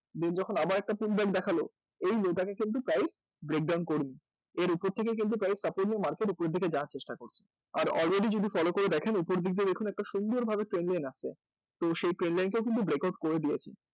Then যখন আবার একটা feedback দেখাল এই তে কিন্তু price break down করবে এর উপর থেকে কিন্তু price support নিয়ে market উপরের দিকে যাওয়ার চেষ্টা করবে আর already যদি follow করে দেখেন উপর দিক দিয়ে দেখুন একটা সুন্দরভাবে আসছে ত্রো সেই trainline কেও কিন্তু breakout করে দিয়েছে